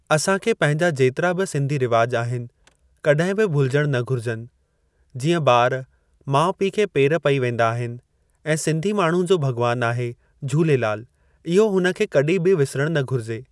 असां खे पंहिंजा जेतिरा बि सिंधी रिवाज़ आहिनि कॾहिं बि भुलजण न घुरिजनि, जीअं ॿार माउ पीउ खे पेरे पई वेंदा आहिनि ऐं सिंधी माण्हू जो भॻवानु आहे झूलेलालु इहो हुन खे कॾीं बि विसरणु न घुरिजे।